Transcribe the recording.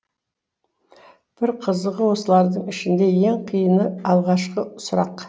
бір қызығы осылардың ішіндегі ең қиыны алғашқы сұрақ